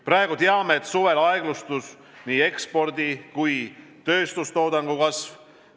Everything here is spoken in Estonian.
Praegu teame, et suvel aeglustus nii ekspordi kui ka tööstustoodangu kasv.